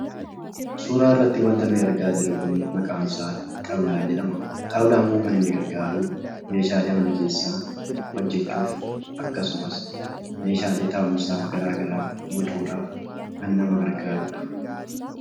Suuraa irratti wanti nuti argaa jirru, maqaansaa xaawulaa jedhama. Xaawulaan kun kan inni gargaaru meeshaalee mana keessaa hojjachuuf akkasumas meeshaalee taa'umsaa garagaraa bocuudhaaf kan nama gargaarudha.